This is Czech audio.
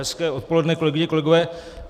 Hezké odpoledne, kolegyně, kolegové.